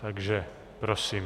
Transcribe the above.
Takže prosím.